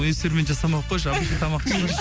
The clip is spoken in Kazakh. эксперимент жасамай қойшы обычный тамақ пісірші